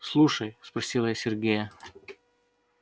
слушай спросила я сергея